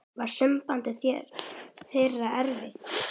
Var samband þeirra erfitt.